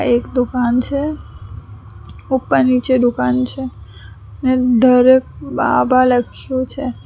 એક દુકાન છે ઉપર નીચે દુકાન છે અને ધરેકબાબા લખ્યું છે.